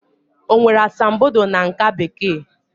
O nwere asambodo na nká Bekee?